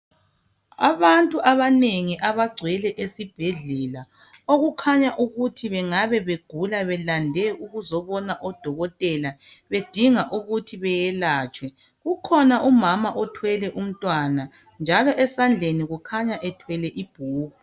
Abantu abanengi abangcwele esibhedlela okukhanya ukuthi bengabe begula belande ukuzonon odokotela bedinga ukuthi belatshwe ukhona umama othwele umntwana njalo esandleni kukhanya ethwele ibhuku.